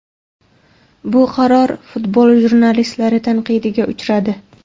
Bu qaror futbol jurnalistlari tanqidiga uchradi.